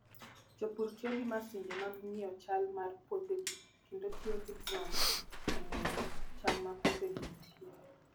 Jopur tiyo gi masinde mag ng'iyo chal mar puothegi kendo tiyo gi drones e ng'eyo chal ma puothego nitie.